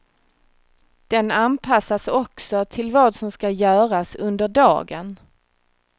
Den anpassas också till vad som ska göras under dagen.